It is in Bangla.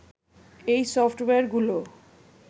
এই সফটওয়্যারগুলো